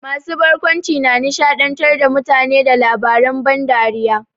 Masu barkwanci na nishaɗantar da mutane da labaren ban dariya.